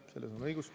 Selles on sul õigus.